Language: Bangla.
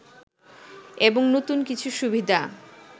এবং নতুন কিছু সুবিধা